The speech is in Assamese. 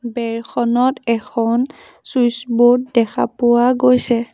বেৰখনত এখন চুইটছ বোৰ্ড দেখা পোৱা গৈছে।